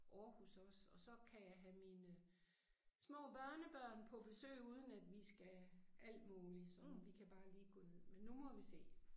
Aarhus også og så kan jeg have mine små børnebørn på besøg uden at vi skal alt muligt som vi kan bare lige gå ned men nu må vi se